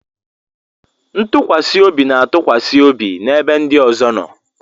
Ntụkwasị obi na-atụkwasị obi n'ebe ndị ọzọ nọ.